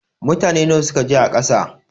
Mutane nawa ne suka je a ƙasa?